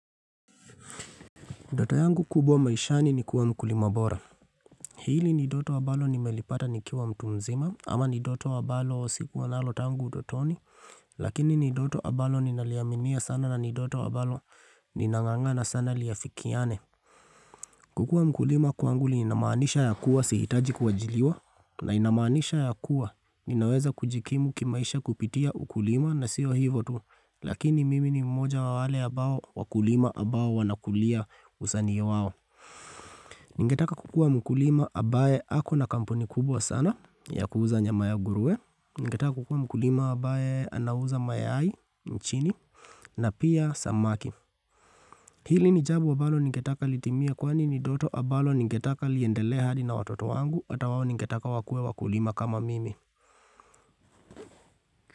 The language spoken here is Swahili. Ndoto yangu kubwa maishani ni kuwa mkulima bora Hili ni ndoto ambalo nimelipata nikiwa mtu mzima ama ni ndoto ambalo sikuwa nalo tangu utotoni Lakini ni ndoto ambalo ninaliaminia sana na ni ndoto ambalo ninangangana sana liafikiane kukuwa mkulima kwanguli inamanisha ya kuwa sihitaji kuajiriwa na inamanisha ya kuwa Ninaweza kujikimu kimaisha kupitia ukulima na sio hio tu Lakini mimi ni mmoja wa wale ambao wakulima ambao wanakulia usanii wao Ningetaka kukua mkulima ambaye ako na kampuni kubwa sana ya kuuza nyama ya nguruwe, ningetaka kukua mkulima ambaye anauza mayai nchini, na pia samaki. Hili ni jambo ambalo ningetaka litimie kwani ni ndoto ambalo ningetaka liendelee hadi na watoto wangu ata wao ningetaka wakue wakulima kama mimi.